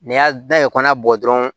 N'i y'a da i kɔnɔ bɔ dɔrɔn